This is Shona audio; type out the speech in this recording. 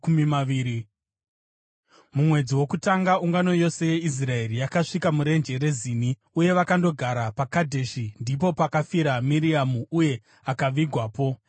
Mumwedzi wokutanga, ungano yose yeIsraeri yakasvika murenje reZini, uye vakandogara paKadheshi. Ndipo pakafira Miriamu uye akavigwapo.